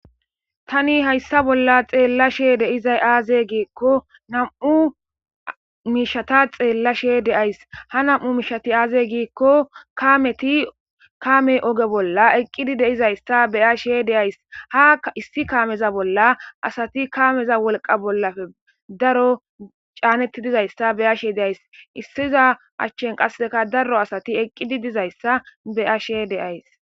Tani hayssa bolla xeellashe de'izay aaze giikko nam'u mishata xeellashe de'ays .Ha nam'u mishati aaze giikko kameti kaame oge bolla eqqidi de'izay issa be'ashe de'ays. Ha issi kaameza bolla asati kaameza wolqa bollappe daro caanetti diza issa beyashe de'ays. Issiza achchan qasseka daro asati eqqidi diza issa be'ashe de'ays.